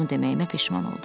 Bunu deməyimə peşman oldum.